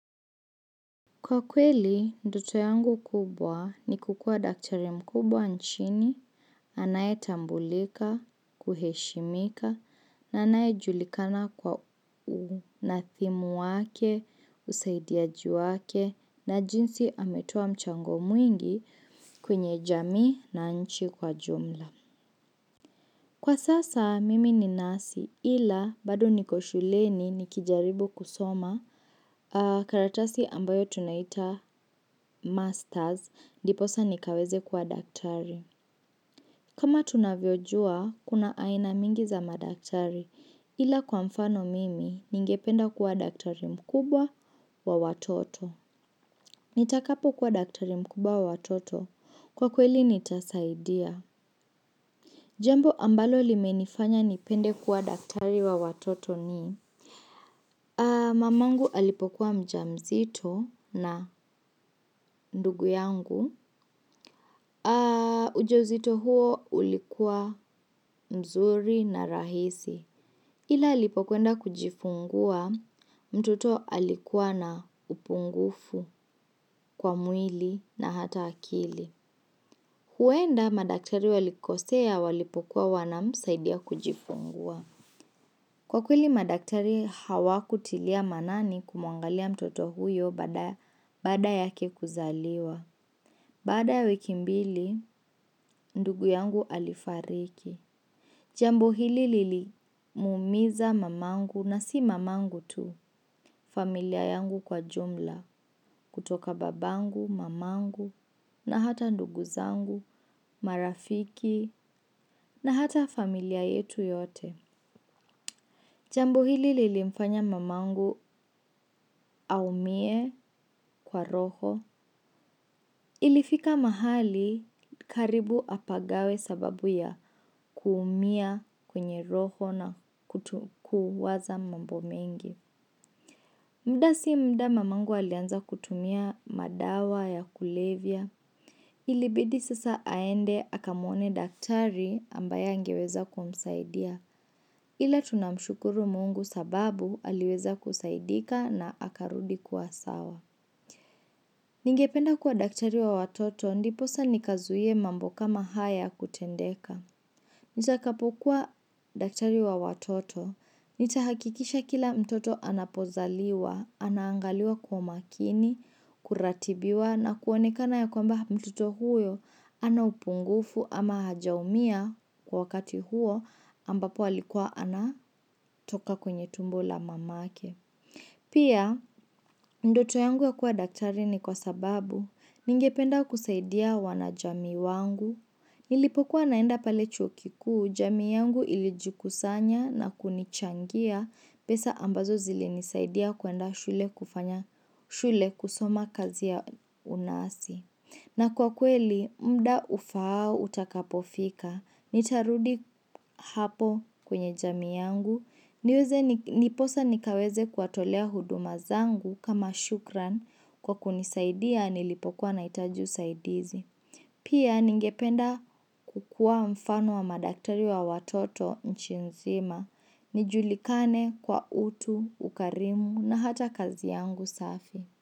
Kwa kweli, ndoto yangu kubwa ni kukua daktari mkubwa nchini, anayetambulika, kuheshimika, na anaye julikana kwa unadhimu wake, usaidiaji wake, na jinsi ametoa mchango mwingi kwenye jamii na nchi kwa jumla. Kwa sasa mimi ni nasi ila bado niko shuleni nikijaribu kusoma karatasi ambayo tunaita masters ndiposa nikaweze kuwa daktari. Kama tunavyojua kuna aina mingi za madaktari ila kwa mfano mimi ningependa kuwa daktari mkubwa wa watoto. Nitakapo kuwa daktari mkubwa wa watoto kwa kweli nitasaidia. Jambo ambalo limenifanya nipende kuwa daktari wa watoto ni mamangu alipokuwa mjamzito na ndugu yangu. Ujauzito huo ulikuwa mzuri na rahisi. Ila alipokuenda kujifungua, mtoto alikuwa na upungufu kwa mwili na hata akili. Huenda madaktari walikosea walipokuwa wanamsaidia kujifungua. Kwa kweli madaktari hawakutilia maanani kumuangalia mtoto huyo baada yake kuzaliwa. Baada ya wiki mbili, ndugu yangu alifariki. Jambo hili lilimuumiza mamangu na si mamangu tu, familia yangu kwa jumla, kutoka babangu, mamangu, na hata ndugu zangu, marafiki, na hata familia yetu yote. Jambo hili lilimfanya mamangu aumie kwa roho. Ilifika mahali karibu apagawe sababu ya kuumia kwenye roho na kuwaza mambo mengi. Mda si mda mamangu alianza kutumia madawa ya kulevya. Ilibidi sasa aende akamuone daktari ambaye angeweza kumsaidia ila tunamshukuru mungu sababu aliweza kusaidika na akarudi kuwa sawa. Ningependa kuwa daktari wa watoto ndiposa nikazuie mambo kama haya kutendeka. Nitakapokuwa daktari wa watoto, nitahakikisha kila mtoto anapozaliwa, anaangaliwa kwa makini, kuratibiwa na kuonekana ya kwamba mtoto huyo hana upungufu ama hajaumia kwa wakati huo ambapo alikuwa ana toka kwenye tumbo la mamake. Pia, ndoto yangu ya kuwa daktari ni kwa sababu, ningependa kusaidia wanajamii wangu, nilipokuwa naenda pale chuo kikuu, jamii yangu ilijikusanya na kunichangia pesa ambazo zilinisaidia kuenda shule kufanya, shule kusoma kazi ya unasi. Na kwa kweli, mda ufaao utakapofika, nitarudi hapo kwenye jamii yangu, niweze niposa nikaweze kuwatolea huduma zangu kama shukran kwa kunisaidia nilipokuwa nahitaji usaidizi. Pia ningependa kukua mfano wa madaktari wa watoto nchi nzima, nijulikane kwa utu, ukarimu na hata kazi yangu safi.